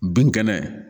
Bin kɛnɛ